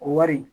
O wari